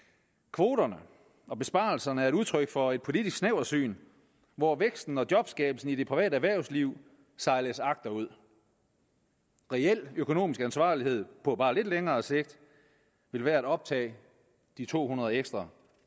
kvoterne og besparelserne er et udtryk for et politisk snæversyn hvor væksten og jobskabelsen i det private erhvervsliv sejles agterud reel økonomisk ansvarlighed på bare lidt længere sigt vil være at optage de to hundrede ekstra